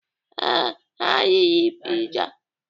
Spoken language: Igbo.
Ee, ha riri piza.